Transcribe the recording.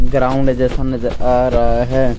Ground जैसा नजर आ रहा है।